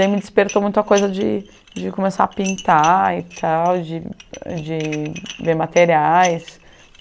E me despertou muito a coisa de de começar a pintar e tal, de de ver materiais.